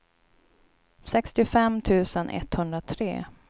sextiofem tusen etthundratre